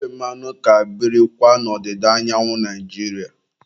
Ndị ofe mmanụ ka birikwa n'odịda anyanwu Naijiria